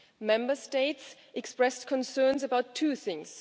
Member States expressed concerns about two things